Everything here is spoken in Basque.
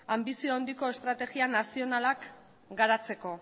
anbizio handiko estrategia nazionalak garatzeko